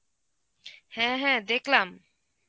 হ্যাঁ, হ্যাঁ, দেখলাম.